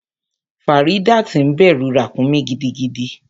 Faridat ń bẹrù ràkúnmí gidigidi.